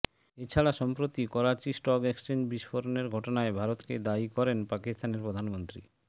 এছাড়া সম্প্রতি Karachi stock exchange বিস্ফোরণের ঘটনায় ভারত কে দায়ী করেন পাকিস্তানের প্রধানমন্ত্রী